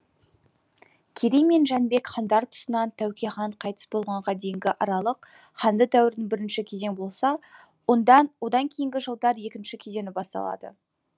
керей мен жәнібек хандар тұсынан тәуке хан қайтыс болғанға дейінгі аралық хандық дәуірдің бірінші кезеңі болса одан кейінгі жылдары екінші кезеңі басталады